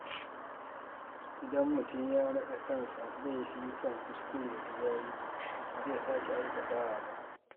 Idan mutum ya naɗa kansa laifi kan kuskure da ya yi, ba zai sake aikatawa ba.